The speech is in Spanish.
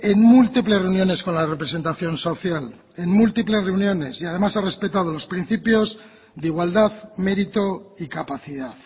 en múltiples reuniones con la representación social en múltiples reuniones y además ha respetado los principios de igualdad mérito y capacidad